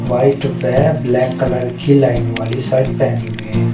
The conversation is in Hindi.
व्हाइट वे ब्लैक कलर की लाइन वाली शर्ट पहनी हुई है।